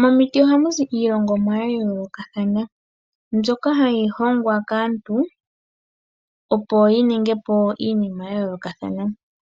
Momiti ohamu zi iilongomwa ya yoolokathana mbyoka hayi hongwa kaantu opo yiningi po iinima ya yoolokathana.